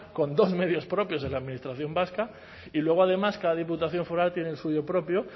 con dos medios propios de la administración vasca y luego además cada diputación foral tiene el suyo propio